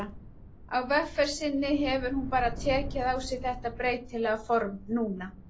Á vegferð sinni hefur hún bara tekið á sig þetta breytilega form núna.